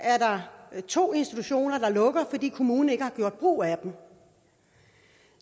er to institutioner der lukker fordi kommunerne ikke har gjort brug af dem